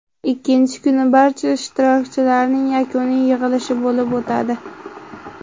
Ikkinchi kuni barcha ishtirokchilarning yakuniy yig‘ilishi bo‘lib o‘tadi.